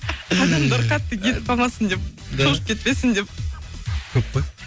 адамдар қатты кетіп қалмасын деп шошып кетпесін деп көп қой